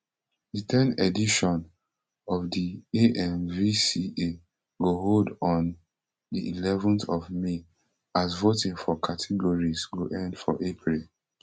di ten edition of di amvca go hold on di eleven th of may as voting for categories go end for april